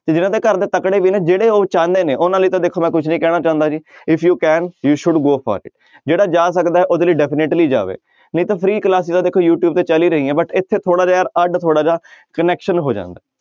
ਤੇ ਜਿਹਨਾਂ ਦੇ ਘਰਦੇ ਤਕੜੇ ਵੀ ਨੇ ਜਿਹੜੇ ਉਹ ਚਾਹੁੰਦੇ ਨੇ ਉਹਨਾਂ ਲਈ ਤਾਂ ਦੇਖੋ ਮੈਂ ਕੁਛ ਨੀ ਕਹਿਣਾ ਚਾਹੁੰਦਾ ਜੀ if you can you should go for it ਜਿਹੜਾ ਜਾ ਸਕਦਾ ਹੈ ਉਹਦੇ ਲਈ definitely ਜਾਵੇ ਨਹੀਂ ਤਾਂ free class ਆ ਦੇਖੋ ਯੂ ਟਿਊਬ ਤੇ ਚੱਲ ਹੀ ਰਹੀਆਂ but ਇੱਥੇ ਥੋੜ੍ਹਾ ਜਿਹਾ ਯਾਰ ਅੱਢ ਥੋੜ੍ਹਾ ਜਿਹਾ connection ਹੋ ਜਾਂਦਾ।